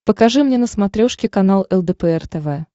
покажи мне на смотрешке канал лдпр тв